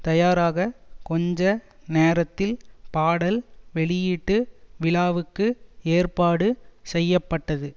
தயாராக கொஞ்ச நேரத்தில் பாடல் வெளியீட்டு விழாவுக்கு ஏற்பாடு செய்ய பட்டது